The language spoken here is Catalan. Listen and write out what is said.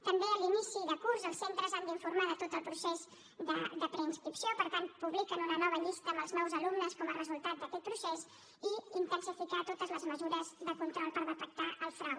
també a l’inici de curs els centres han d’informar de tot el procés de preinscripció per tant publiquen una nova llista amb els nous alumnes com a resultat d’aquest procés i han d’intensificar totes les mesures de control per detectar el frau